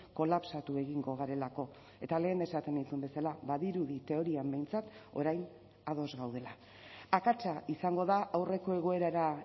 kolapsatu egingo garelako eta lehen esaten nizun bezala badirudi teorian behintzat orain ados gaudela akatsa izango da aurreko egoerara